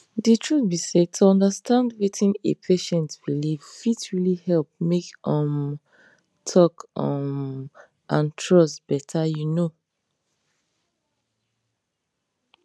the truth be say to understand wetin a patient believe fit really help make um talk um and trust better you know